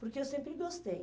Porque eu sempre gostei.